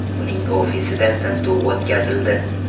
Uning ofisida tintuv o‘tkazildi.